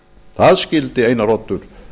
það skildi einar oddur